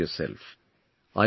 Take care of yourself